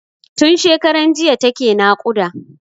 Tun shekaran jiya take naƙuda.